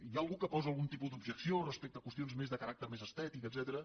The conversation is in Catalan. hi ha algú que posa algun tipus d’objecció respecte a qüestions més de caràcter més estètic etcètera